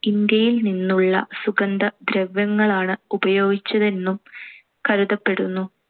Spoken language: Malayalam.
ഇന്ത്യയിൽനിന്നുള്ള സുഗന്ധദ്രവ്യങ്ങളാണ് ഉപയോഗിച്ചതെന്നും കരുതപ്പെടുന്നു.